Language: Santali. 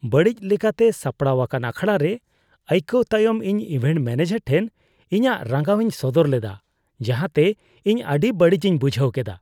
ᱵᱟᱹᱲᱤᱡ ᱞᱮᱠᱟᱛᱮ ᱥᱟᱯᱲᱟᱣ ᱟᱠᱟᱱ ᱟᱠᱷᱲᱟ ᱨᱮ ᱟᱭᱠᱟᱹᱣ ᱛᱟᱭᱚᱢ ᱤᱧ ᱤᱵᱷᱮᱱᱴ ᱢᱚᱱᱮᱡᱟᱨ ᱴᱷᱮᱱ ᱤᱧᱟᱹᱜ ᱨᱟᱸᱜᱟᱣᱤᱧ ᱥᱚᱫᱚᱨ ᱞᱮᱫᱟ, ᱡᱟᱸᱦᱟᱛᱮ ᱤᱧ ᱟᱹᱰᱤ ᱵᱟᱹᱲᱤᱡ ᱤᱧ ᱵᱩᱡᱷᱟᱹᱣ ᱠᱮᱫᱟ ᱾